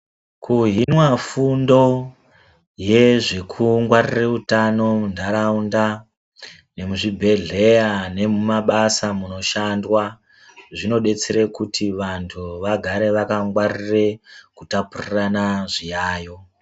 Kuhinwa fundo yezvekungwarira utano munharaunda , muzvibhehleya nemumabasa munoshandwa zvinobatsira kuti vantu vagare vakangwarire kutapirirana zviyayiyo .